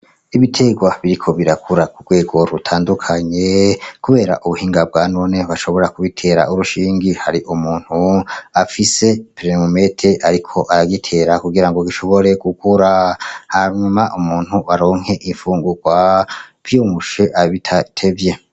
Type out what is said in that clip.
Ibiterwa biriko birakura ku rwego rutandukanye, kubera ubuhinga bwa none bashobora kubitera urushingi hari umuntu afise pererumete, ariko aragitera kugira ngo gishobore gukura hanyuma umuntu baronke imfungurwa vyoroshe bitatevye.